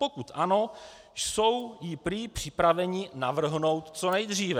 Pokud ano, jsou ji prý připraveni navrhnout co nejdříve.